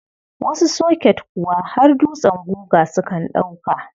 Wasu soket kuwa har dutsen guga sukan ɗauka.